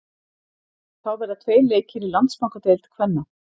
Þá verða tveir leikir í Landsbankadeild kvenna.